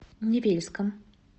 невельском